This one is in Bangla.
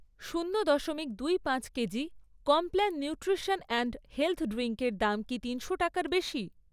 শূন্য দশমিক দুই পাঁচ kg Complan nutrition and health ড্রিঙ্কের দাম কি তিনশো টাকার বেশি?